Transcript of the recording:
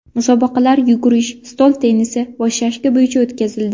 Musobaqalar yugurish, stol tennisi va shashka bo‘yicha o‘tkazildi.